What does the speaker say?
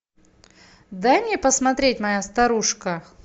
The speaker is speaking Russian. дай мне посмотреть моя старушка